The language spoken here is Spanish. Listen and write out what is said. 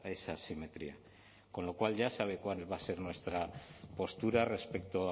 esa asimetría con lo cual ya sabe cuál va a ser nuestra postura respecto